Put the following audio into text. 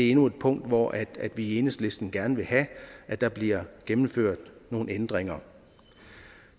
endnu et punkt hvor vi i enhedslisten gerne vil have at der bliver gennemført nogle ændringer